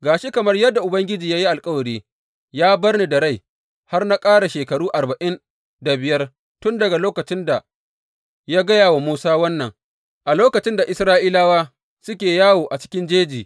Ga shi, kamar yadda Ubangiji ya yi alkawari, ya bar ni da rai har na ƙara shekaru arba’in da biyar tun daga lokacin da ya gaya wa Musa wannan, a lokacin da Isra’ilawa suke yawo a cikin jeji.